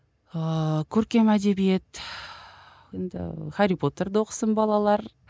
ыыы көркем әдебиет енді хәрри потерді оқысын балалар